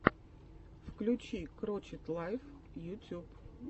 включи крочет лайф ютюб